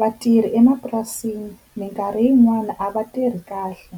Vatirhi emapurasini minkarhi yin'wani a va tirhi kahle,